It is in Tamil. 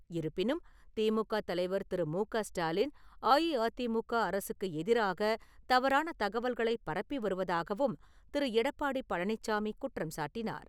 இருப்பினும் திமுக தலைவர் திரு. மு. க. ஸ்டாலின், அஇஅதிமுக அரசுக்கு எதிராக தவறான தகவல்களைப் பரப்பி வருவதாகவும் திரு. எடப்பாடி பழனிசாமி குற்றம்சாட்டினார்.